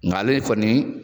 Nga ale kɔni